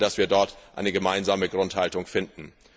Ich hoffe, dass wir dort eine gemeinsame Grundhaltung finden.